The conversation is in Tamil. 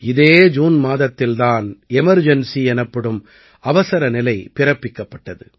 இதே ஜூன் மாதத்தில் தான் எமர்ஜென்சி எனப்படும் அவசரநிலை பிறப்பிக்கப்பட்டது